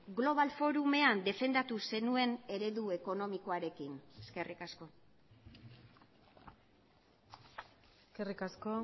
global forumean defendatu zenuen eredu ekonomikoarekin eskerrik asko eskerrik asko